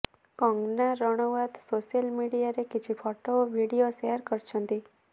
Kangana Ranaut social ମିଡ଼ିଆରେ କିଛି photo ଓ ଭିଡିଓ ସେୟାର କରିଛନ୍ତି